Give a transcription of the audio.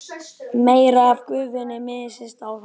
meira af gufunni missist þá.